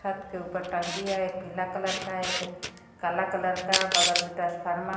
छत के ऊपर टंकी है एक पीला कलर का है एक काला कलर का बगल में ट्रांसफार्मर --